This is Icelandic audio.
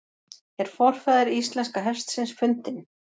Er forfaðir íslenska hestsins fundinn?